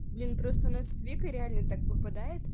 блин просто у нас с викой реально так выпадает